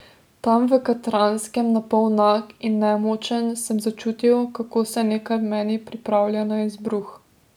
Tam v Katranskem, napol nag in nemočen, sem začutil, kako se nekaj v meni pripravlja na izbruh.